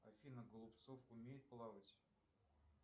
афина голубцов умеет плавать